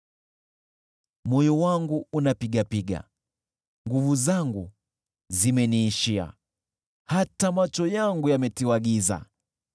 Moyo wangu unapigapiga, nguvu zangu zimeniishia; hata macho yangu yametiwa giza.